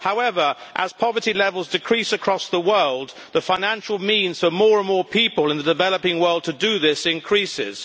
However, as poverty levels decrease across the world, the financial means for more and more people in the developing world to do this increases.